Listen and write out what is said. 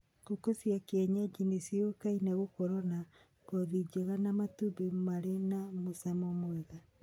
Ngũkũ cia kĩenyenji nĩ cioĩkaine gũkorwo na ngothi njega na matumbĩ marĩ na mũcamo mwega.